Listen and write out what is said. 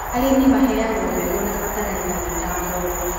Arĩmĩ maheagwo mbegũ na bataraitha ĩ ta ngombo